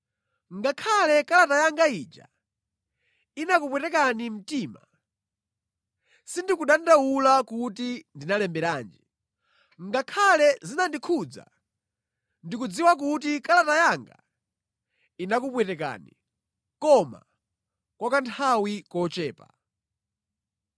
Ngakhale kalata yanga ija inakupwetekani mtima, sindikudandaula kuti ndinalemberanji. Ngakhale zinandikhudza, ndikudziwa kuti kalata yanga inakupwetekani, koma kwa kanthawi kochepa.